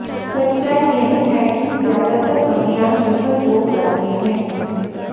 सच्चाई यह है कि ज्यादातर अभियान विफल हो जाते हैं